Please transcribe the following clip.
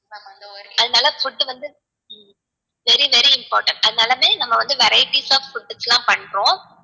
அதனால food வந்து very very important அதனாலுமே நம்ம வந்து varieties of foods லாம் பண்றோம்